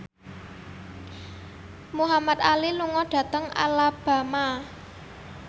Muhamad Ali lunga dhateng Alabama